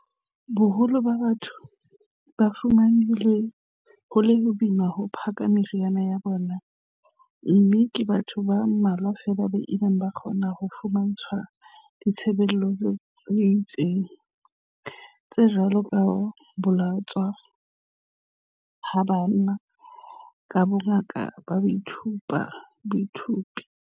Boholo ba batho ba fumane ho le boima ho phaka meriana ya bona mme ke batho ba mmalwa feela ba ileng ba kgona ho fumantshwa ditshebeletso tse itseng, tse jwalo ka ho bolotswa ha banna ka bongaka ka boithaupi.